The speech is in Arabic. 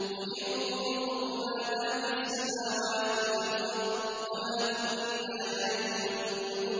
قُلِ انظُرُوا مَاذَا فِي السَّمَاوَاتِ وَالْأَرْضِ ۚ وَمَا تُغْنِي الْآيَاتُ